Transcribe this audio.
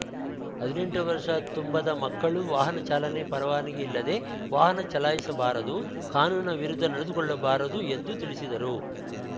ಹದಿನೆಂಟು ವರ್ಷ ತುಂಬದ ಮಕ್ಕಳು ವಾಹನ ಚಾಲನೆ ಪರವಾನಗಿ ಇಲ್ಲದೇ ವಾಹನ ಚಲಾಯಿಸಬಾರದು ಕಾನೂನಿನ ವಿರುದ್ದ ನಡೆದುಕೊಳ್ಳಬಾರದು ಎಂದು ತಿಳಿಸಿದರು